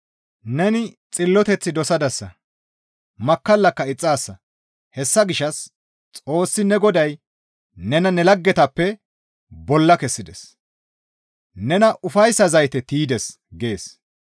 Neni xilloteth dosadasa; makkallaka ixxaasa; hessa gishshas Xoossi ne Goday nena ne laggetappe bolla kessides; nena ufayssa zayte tiydes» gees.